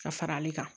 Ka fara ale kan